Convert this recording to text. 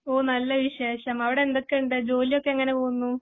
ഓഹ് നല്ല വിശേഷം. അവിടെ എന്തൊക്കെ ഉണ്ട്? ജോലി ഒക്കെ എങ്ങനെ പോകുന്നു?